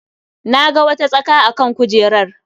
Na ga wata tsaka a kan kujerar.